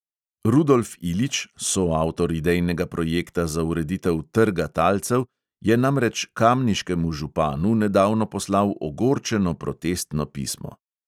Rudolf ilić, soavtor idejnega projekta za ureditev trga talcev, je namreč kamniškemu županu nedavno poslal ogorčeno protestno pismo.